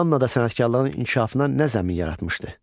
Mannada sənətkarlığın inkişafına nə zəmin yaratmışdı?